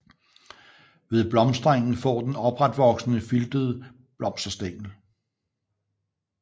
Ved blomstringen får den opretvoksende filtede blomsterstængler